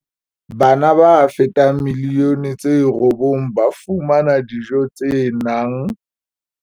Bana ba fetang milioni tse robong ba fumana dijo tse nang.